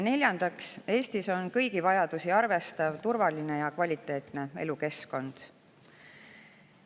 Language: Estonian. Neljandaks, Eestis on kõigi vajadusi arvestav, turvaline ja kvaliteetne elukeskkond.